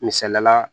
Misaliyala